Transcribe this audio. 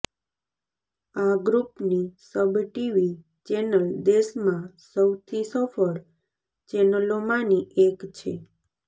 આ ગ્રુપની SAB TV channel દેશમાં સૌથી સફળ ચેનલોમાંની એક છે